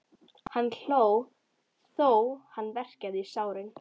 Hann hló þó hann verkjaði í sárin.